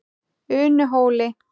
Unuhóli